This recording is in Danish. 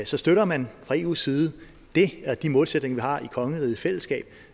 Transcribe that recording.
så støtter man fra eus side de målsætninger vi har i kongeriget i fællesskab